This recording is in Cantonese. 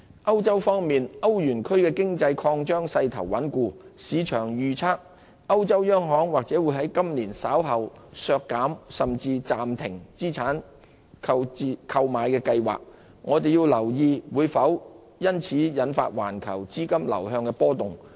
歐洲方面，歐羅區經濟擴張勢頭穩固，市場預測歐洲央行或會在今年稍後削減甚至暫停資產購買計劃，我們要留意會否因此引發環球資金流向出現波動。